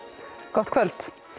gott kvöld